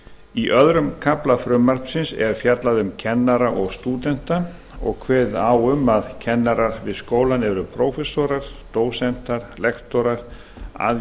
í öðrum kafla frumvarpsins er fjallað um kennara og stúdenta og kveðið á um að kennarar við skólann séu prófessorar dósentar lektorar aðjúnktar